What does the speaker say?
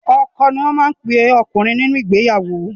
Ọkọ ni wọ́n má ape ọkùnrin nínú ìgbeyàwó.